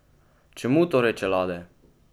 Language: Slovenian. Čemu torej čelade?